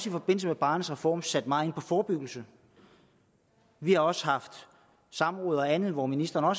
i forbindelse med barnets reform sat meget ind på forebyggelse vi har også haft samråd og andet hvor ministeren har